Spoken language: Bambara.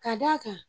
Ka d'a kan